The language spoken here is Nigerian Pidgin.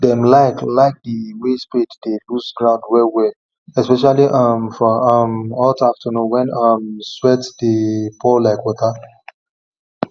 dem like like the way spade dey loose ground wellwell especially um for um hot afternoon when um sweat dey pour like water